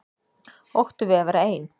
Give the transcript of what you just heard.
Ótti við að vera ein.